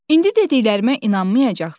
İndi dediklərimə inanmayacaqsız.